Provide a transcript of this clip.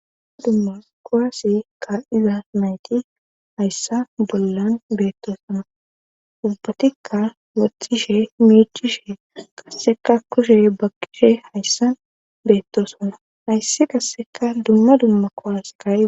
duma dumma kowaase ka'iza nayti hayssa bollan beettosana ubbatikka wothishe miichishe qasseka kushe bakkishe hayssan beettosona hayssi qasseka dumma dumma kowaseka